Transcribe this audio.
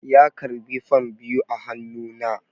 ya karɓi fam biyu a hannu na